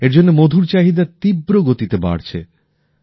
এর জন্য মধুর চাহিদা তীব্র গতিতে বাড়ছে